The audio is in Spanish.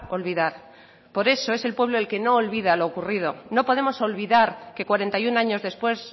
olvidar por eso es el pueblo el que no olvida lo ocurrido no podemos olvidar que cuarenta y uno años después